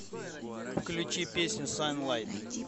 включи песню санлайт